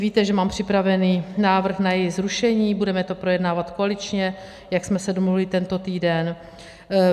Víte, že mám připravený návrh na její zrušení, budeme to projednávat koaličně, jak jsme se domluvili tento týden.